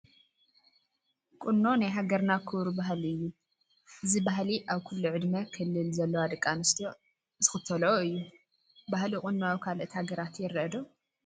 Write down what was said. ቁኖ ናይ ሃገርና ክቡር ባህሊ እዩ፡፡ እዚ ባህሊ ኣብ ኩሉ ዕድመ ክልል ዘለዋ ደቂ ኣንስትዮ ዝኽተልኦ እዩ፡፡ ባህሊ ቁኖ ኣብ ካልኦት ሃገራት ይርአ ዶ?